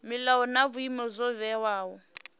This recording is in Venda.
milayo na vhuimo zwo vhewaho